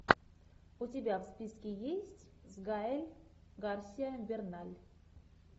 у тебя в списке есть с гаэль гарсия берналь